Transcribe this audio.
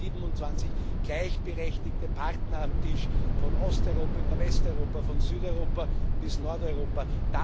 27 gleichberechtigte Partner am Tisch von Osteuropa über Westeuropa, von Südeuropa bis Nordeuropa.